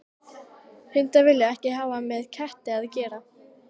Hundar vilja ekkert hafa með ketti að gera.